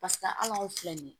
Pasik'a anw filɛ nin ye